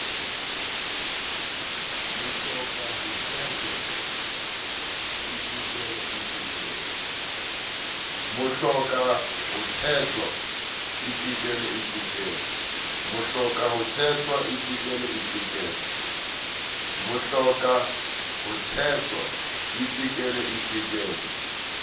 mohloka ho thetwa itekele itekele